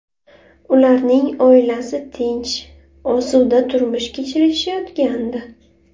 Ularning oilasi tinch, osuda turmush kechirishayotgandi.